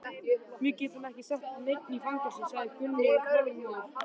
Við getum ekki sett neinn í fangelsi, sagði Gunni þolinmóður.